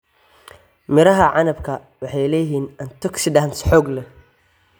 Midhaha canabka waxay leeyihiin antioxidants xoog leh.